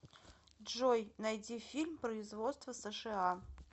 джой найди фильм производства сша